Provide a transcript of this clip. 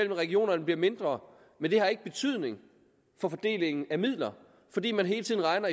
regionerne mindre men det har ikke betydning for fordelingen af midler fordi man hele tiden regner